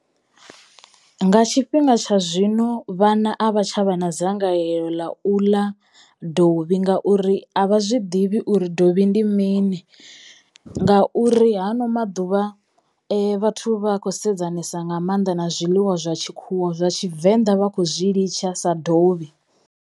Nga tshifhinga tsha zwino vhana a vha tsha vha na dzangalelo ḽa u ḽa dovhi ngauri a vha zwi ḓivhi uri dovhi ndi mini, ngauri hano maḓuvha vhathu vha a kho sedzana thusa nga mannḓa na zwiḽiwa zwa tshikhuwa zwa tshivenḓa vha khou zwi litsha sa dovhi.